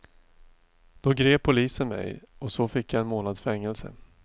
Då grep polisen mig och så fick jag en månads fängelse.